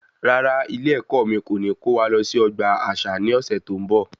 Rárá, ilé ẹkọ mí kò ní kó wa lọ sí ọgbà àṣà ní ọsẹ tó n bọ